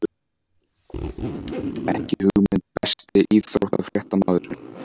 Ekki hugmynd Besti íþróttafréttamaðurinn?